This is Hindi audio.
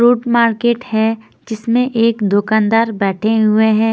फ्रूट मार्केट है जिसमें एक दुकानदार बैठे हुए हैं।